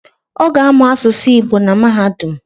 Oga amuu asusu Igbo na mahadum